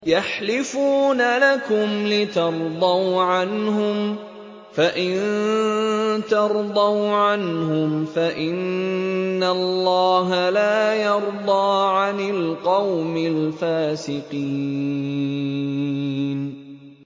يَحْلِفُونَ لَكُمْ لِتَرْضَوْا عَنْهُمْ ۖ فَإِن تَرْضَوْا عَنْهُمْ فَإِنَّ اللَّهَ لَا يَرْضَىٰ عَنِ الْقَوْمِ الْفَاسِقِينَ